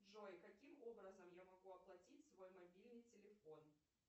джой каким образом я могу оплатить свой мобильный телефон